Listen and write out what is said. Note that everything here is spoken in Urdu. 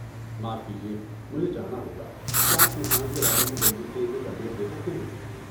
معاف کیجیے، مجھے جانا ہوگا، کیا آپ طوفان کے بارے میں جلدی سے ایک اپ ڈیٹ دے سکتے ہیں؟